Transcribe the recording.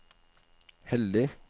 heldig